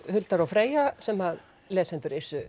Huldar og Freyja sem lesendur